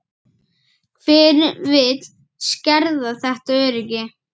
Hver vill skerða þetta öryggi?